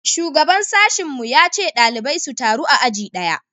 shugaban sashin mu ya ce ɗalibai su taru a aji daya